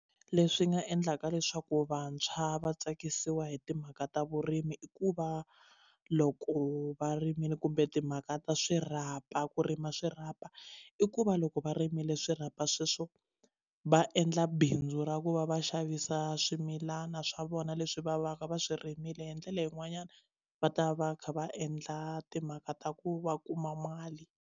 Leswi nga endlaka leswaku vantshwa va tsakisiwa hi timhaka ta vurimi i ku va loko va rimile kumbe timhaka ta swirhapa ku rima swirhapa i ku va loko va rimile swi swirhapa sweswo va endla bindzu ra ku va va xavisa swimilana swa vona leswi va va ka va swi rimile hi ndlela yin'wanyana va ta va va kha va endla timhaka ta ku va kuma mali.